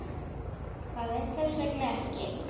Karen: Hvers vegna ekki?